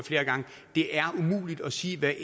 det er umuligt at sige hvad